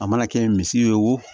A mana kɛ misi ye wo